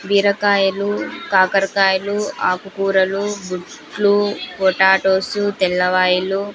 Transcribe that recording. బీరకాయలు కాకరకాయలు ఆకుకూరలు గుడ్లు పొటాటోస్ తెల్లవాయులు--